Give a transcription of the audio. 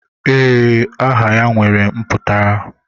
Ee, aha ya nwere mputara.